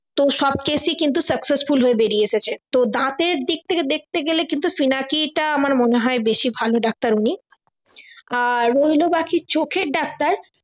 তো সব case successful হয়ে বেরিয়ে এসেছে তো দাঁতের দিক থেকে দেখতে গেলে কিন্তু পিনাকী টা আমার মনে হয় বেশি ভালো ডাক্তার উনি আর রইলো বাকি চোখের ডাক্তার